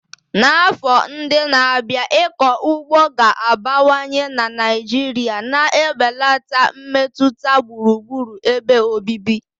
N'afọ ndị na-abịa, ịkọ ugbo ga-abawanye na Naijiria na-ebelata mmetụta gburugburu ebe obibi.